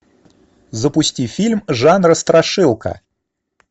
запусти фильм жанра страшилка